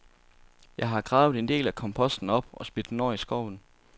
Jeg har gravet en del af komposten op og smidt den over i skoven.